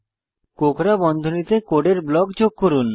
কোঁকড়া বন্ধনীতে কোডের ব্লক যোগ করুন